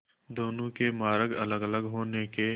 दोनों के मार्ग अलगअलग होने के